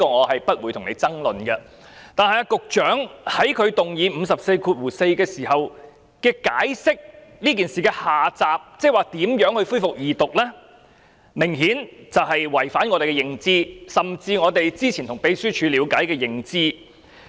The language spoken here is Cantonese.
我不會與你爭論這一點，但局長在根據第544條動議議案時所解釋這件事的下集，即如何恢復二讀，明顯違反我們的認知，甚至我們之前從秘書處所得的認知。